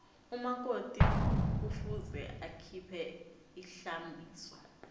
umakoti kufuze akhiphe ihlambiso